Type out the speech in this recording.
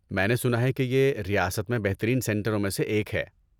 میں نے سنا ہے کہ یہ ریاست میں بہترین سنٹروں میں سے ایک ہے؟